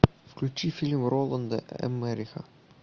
включи фильм роланда эммериха